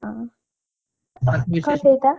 ಹಾ. coffee ಆಯ್ತಾ.